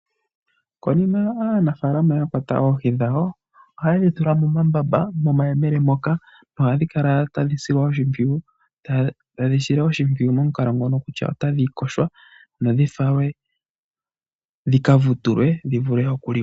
Konima aanafaalama ya kwata oohi dhawo ohaye dhitula momambamba momayele moka nohadhi kala tadhi silwa oshimpwiyu momukalo ngono kutya otadhi yogwa dho dhi falwe dhika vutulwe dhi vule okuliwa.